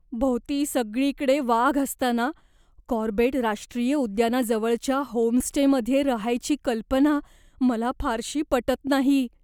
भोवती सगळीकडे वाघ असताना कॉर्बेट राष्ट्रीय उद्यानाजवळच्या होमस्टेमध्ये रहायची कल्पना मला फारशी पटत नाही.